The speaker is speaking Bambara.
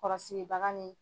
Kɔlɔsibaga ni.